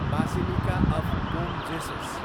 basilica of Bom Jesus